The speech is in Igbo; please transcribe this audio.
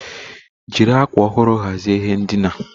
Jiri akwa ọhụrụ hazie ihe ndina.